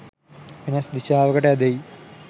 වෙනස් දීශාවකට ඈඳෙයි